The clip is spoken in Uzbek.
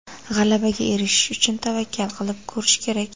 G‘alabaga erishish uchun tavakkal qilib ko‘rish kerak.